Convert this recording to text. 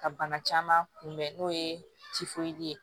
Ka bana caman kun bɛn n'o ye ye